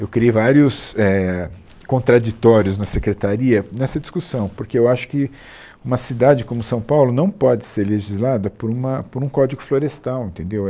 Eu criei vários eh contraditórios na secretaria nessa discussão, porque eu acho que uma cidade como São Paulo não pode ser legislada por uma por um código florestal, entendeu?